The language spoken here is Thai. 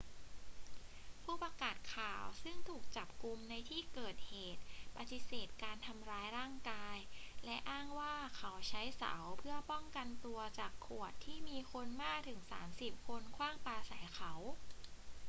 ผู้ประกาศข่าวซึ่งถูกจับกุมในที่เกิดเหตุปฏิเสธการทำร้ายร่างกาย และอ้างว่าเขาใช้เสาเพื่อป้องกันตัวจากขวดที่มีคนมากถึงสามสิบคนขว้างปาใส่เขา